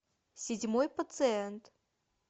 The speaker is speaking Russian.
седьмой пациент